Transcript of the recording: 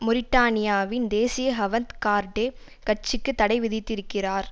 மொரிட்டானியாவின் தேசிய ஹவந்த் கார்டே கட்சிக்கு தடை விதித்திருக்கிறார்